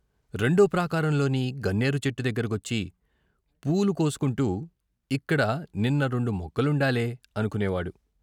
రెండో ప్రాకారంలోని గన్నేరు చెట్టు దగ్గర కొచ్చి పూలు కోసుకుంటూ ఇక్కడ నిన్న రెండు మొగ్గలుండాలే అనుకోనేవాడు.